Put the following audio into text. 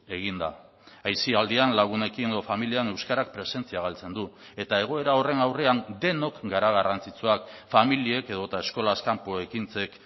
egin da aisialdian lagunekin edo familian euskarak presentzia galtzen du eta egoera horren aurrean denok gara garrantzitsuak familiek edota eskolaz kanpo ekintzek